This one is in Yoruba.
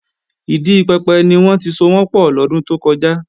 Ìdi pẹpẹ ni wọ́n ti sowọ́n pọ̀ lọ́dún tó kọjá